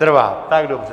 Trváte, tak dobře.